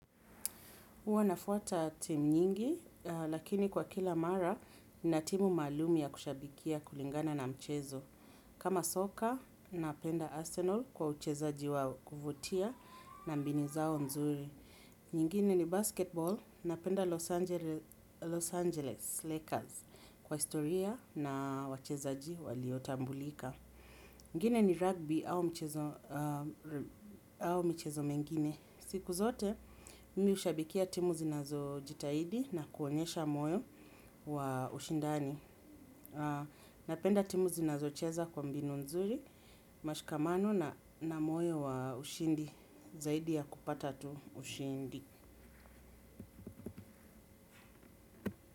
Huwa nafuata timu nyingi, lakini kwa kila mara nina timu maalum ya kushabikia kulingana na mchezo. Kama soka, napenda Arsenal kwa uchezaji wa kuvutia na mbinu zao nzuri. Nyingine ni basketball, napenda Los Angeles Lakers kwa historia na wachezaji waliotambulika. Ngine ni rugby au mchezo mengine. Siku zote mimi hushabikia timu zinazojitahidi na kuonyesha moyo wa ushindani napenda timu zinazocheza kwa mbinu nzuri, mashikamano na moyo wa ushindi, zaidi ya kupata tu ushindi.